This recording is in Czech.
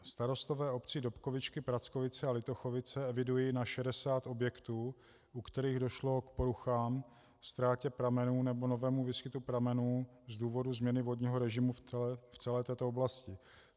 Starostové obcí Dobkovičky, Prackovice a Litochovice evidují na 60 objektů, u kterých došlo k poruchám, ztrátě pramenů nebo novému výskytu pramenů z důvodu změny vodního režimu v celé této oblasti.